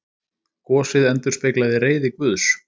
Gosið endurspeglaði reiði Guðs